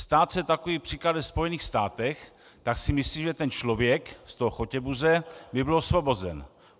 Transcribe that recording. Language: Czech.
Stát se takový případ ve Spojených státech, tak si myslím, že ten člověk z toho Chotěbuze by byl osvobozen.